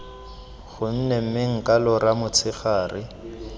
gone mme nka lora motshegare